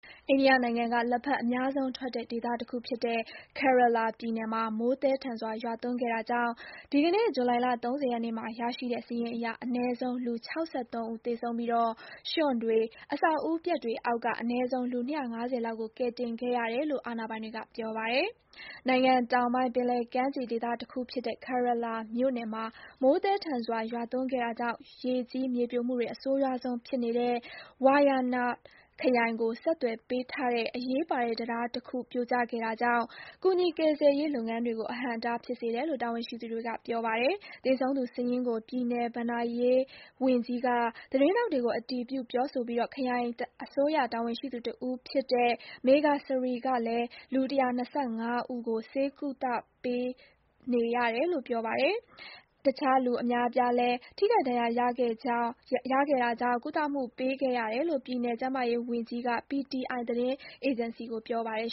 အိန္ဒိယနိုင်ငံက လက်ဖက်အများဆုံးထွက်တဲ့ ဒေသတခုဖြစ်တဲ့ Kerala ပြည်နယ်မှာ မိုးသည်းထန်စွာရွာသွန်းခဲ့တာကြောင့် ဒီကနေ့ ဇူလိုင် ၃၀ ရက်နေ့မှာရရှိတဲ့ စာရင်းအရ အနည်းဆုံး လူ ၆၃ ဦးသေဆုံးပြီး ရွှံ့တွေ၊ အဆောက်အဦပျက်တွေအောက်က အနည်းဆုံး လူ ၂၅၀ လောက်ကို ကယ်တင်ခဲ့ရတယ်လို့ အာဏာပိုင်တွေက ပြောပါတယ်။ နိုင်ငံတောင်ပိုင်း၊ ပင်လယ်ကမ်းခြေဒေသတခုဖြစ်တဲ့ Kerelaပြည်နယ်မှာ မိုးသည်းထန်စွာ ရွာသွန်းခဲ့တာကြောင့် ရေကြီး မြေပြိုမှုတွေ အဆိုးရွားဆုံးဖြစ်နေတဲ့ Wayanad ခရိုင်ကို ဆက်သွယ်ပေးထားတဲ့ အရေးပါတဲ့ တံတားတခုပြိုကျခဲ့တာကြောင့် ကူညီ ကယ်ဆယ်ရေး လုပ်ငန်းတွေကို အဟန့်အတားဖြစ်စေတယ်လို့ တာဝန်ရှိသူတွေက ပြောပါတယ်။ သေဆုံးသူစာရင်းကို ပြည်နယ် ဘဏ္ဍာရေးဝန်ကြီး K. Rajan က သတင်းထောက်တွေကို အတည်ပြုပြောဆိုပြီး ခရိုင်အစိုးရ တာဝန်ရှိသူ တဦးဖြစ်တဲ့ D.R. Meghasree ကလည်း လူ ၁၂၅ ဦးကို ဆေးကုသမှုပေးခဲ့ရတယ်လို့ ပြောပါတယ်။ တခြား လူအများအပြားလည်း ထိခိုက် ဒဏ်ရာရခဲ့တာကြောင့် ကုသမှုပေးခဲ့ရတယ်လို့ ပြည်နယ် ကျန်းမာရေးဝန်ကြီး Veena George က PTI သတင်းအေဂျင်စီကို ပြောပါတယ်